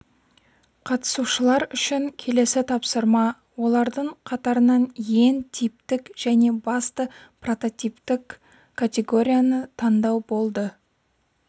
қатысушылар үшін келесі тапсырма олардың қатарынан ең типтік және басты прототиптік категорияны таңдау болды